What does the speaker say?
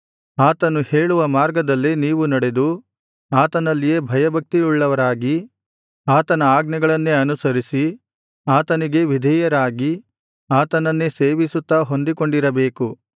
ಆತನು ಹೇಳುವ ಮಾರ್ಗದಲ್ಲೇ ನೀವು ನಡೆದು ಆತನಲ್ಲಿಯೇ ಭಯಭಕ್ತಿಯುಳ್ಳವರಾಗಿ ಆತನ ಆಜ್ಞೆಗಳನ್ನೇ ಅನುಸರಿಸಿ ಆತನಿಗೇ ವಿಧೇಯರಾಗಿ ಆತನನ್ನೇ ಸೇವಿಸುತ್ತಾ ಹೊಂದಿಕೊಂಡಿರಬೇಕು